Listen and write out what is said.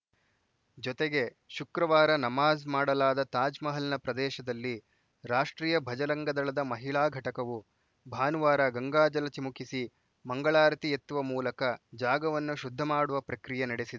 ಜೊತೆಗೆ ಶುಕ್ರವಾರ ನಮಾಜ್‌ ಮಾಡಲಾದ ತಾಜ್‌ಮಹಲ್‌ನ ಪ್ರದೇಶದಲ್ಲಿ ರಾಷ್ಟ್ರೀಯ ಭಜರಂಗದಳದ ಮಹಿಳಾ ಘಟಕವು ಭಾನುವಾರ ಗಂಗಾಜಲ ಚಿಮುಕಿಸಿ ಮಂಗಳಾರತಿ ಎತ್ತುವ ಮೂಲಕ ಜಾಗವನ್ನು ಶುದ್ಧ ಮಾಡುವ ಪ್ರಕ್ರಿಯೆ ನಡೆಸಿ